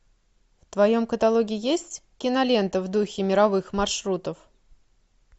в твоем каталоге есть кинолента в духе мировых маршрутов